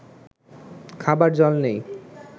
খাবার জল নেই